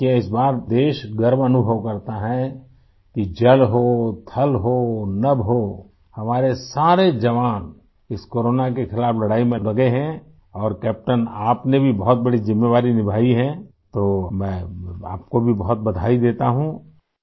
देखिये इस बार देश गर्व अनुभव करता है कि जल हो थल हो नभ हो हमारे सारे जवान इस कोरोना के खिलाफ़ लड़ाई में लगे हैं और कैप्टेन आपने भी बहुत बड़ी ज़िम्मेवारी निभाई है तो मैं आपको भी बहुत बधाई देता हूँ आई